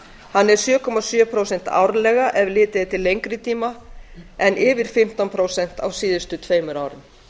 hann er sjö komma sjö prósent árlega ef litið er til lengri tíma en yfir fimmtán prósent á síðustu tveimur árum